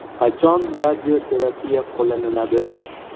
Qachon radioterapiya qo‘llanadi?